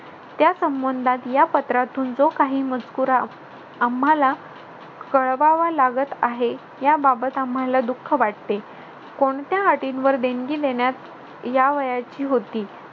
त्या संबंधात या पत्रातून जो काही मजकूर आम्हाला कळवावा लागत आहे याबाबत आम्हाला दुःख वाटते. कोणत्या अटींवर देणगी देण्यात यावयाची होती.